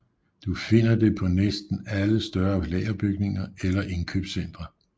Du finder det på næsten alle større lagerbygninger eller indkøbscentre